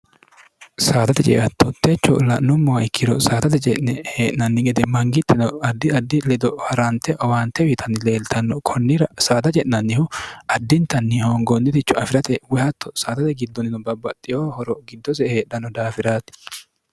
saadate jeeattootteecho la'nummoa ikkiro saadate je'ne hee'nanni gede mangiittino addi addi ledo ha'raante owaante wiitanni leeltanno kunnira saadaje'nannihu addintanni hoongoonniticho afi'rate woyhatto saadate giddonino babbaxxihoo horo giddose heedhanno daafiraati